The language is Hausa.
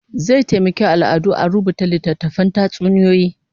Zai taimaki al'adu a rubuta littatttafan tatsuniyoyi